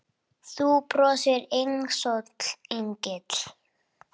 Þú brosir einsog engill.